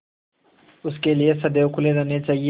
उनके लिए सदैव खुले रहने चाहिए